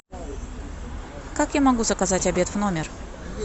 как я могу заказать обед в номер